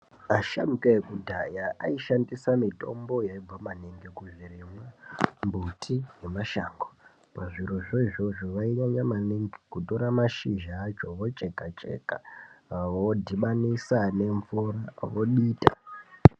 Asharukwa ekudhaya aishandisa mitombo yaibva kumbuti nemashango kuzvitoro zvoivzozvo vairamba maningi kutora mashizha vocheka Cheka vodhubanisa nemvura vodita.